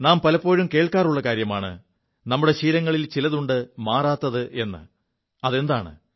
നാം പലപ്പോഴും കേൾക്കാറുള്ള കാര്യമാണ് നമ്മുടെ ശീലങ്ങളിൽ ചിലതുണ്ട് മാറാത്തത് എ് അതെന്താണ്